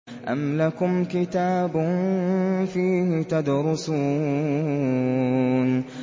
أَمْ لَكُمْ كِتَابٌ فِيهِ تَدْرُسُونَ